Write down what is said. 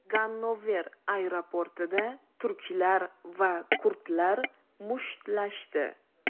Gannover aeroportida turklar va kurdlar mushtlashdi.